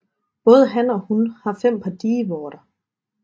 Både han og hun har fem par dievorter